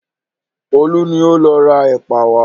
Olú ni ó lọ ra ẹ̀pà wá.